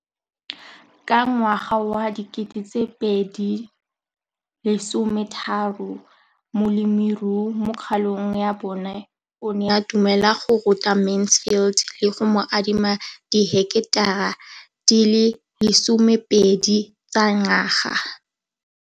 Ka ngwaga wa 2013, molemirui mo kgaolong ya bona o ne a dumela go ruta Mansfield le go mo adima di heketara di le 12 tsa naga.